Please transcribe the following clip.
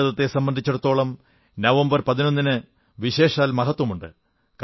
ഭാരതത്തെ സംബന്ധിച്ചിടത്തോളം നവംബർ 11 ന് വിശേഷാൽ മഹത്വമുണ്ട്